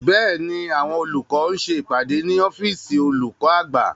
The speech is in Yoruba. Bẹ́ẹ̀ni, àwọn olùkọ́ ń ṣe ìpàdé ní ọ́fìsìn olùkọ́ àgbà